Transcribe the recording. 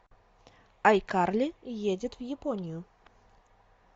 айкарли едет в японию